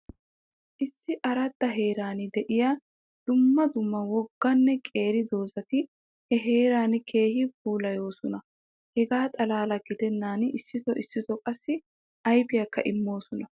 Issi aradda heeran de'iya dumma dumma wogganne qeeri doozati he heeraa keehi puulayoosona. Hegaa xalaala gidennan issooti issooti qaassi ayfiyakka immoosona.